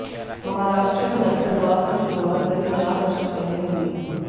महाराष्ट्र में नक्सलवाद की शुरुआत करीब चार दशक पहले हुई